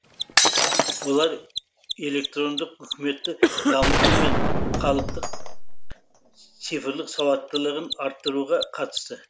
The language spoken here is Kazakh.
олар электрондық үкіметті дамыту мен халықтың цифрлық сауаттылығын арттыруға қатысты